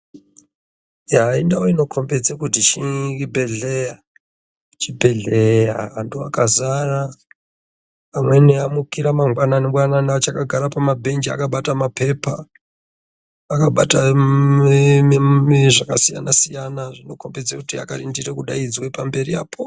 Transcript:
Yaa! indau inokombedze kuti chibheleya, chibheleya anhu akazara, amweni amukira mangwanani gwanani achakagara pamabench akabata mapepa, akabata zvakasiyanasiyana zvinokombedze kuti akarindire kudaidzwe pamberi apo.